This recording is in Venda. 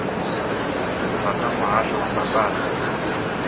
bva kha muhasho wa mbambadzo